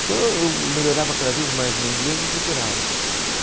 Então eu eu melhorava cada vez mais o meu inglês e procurava.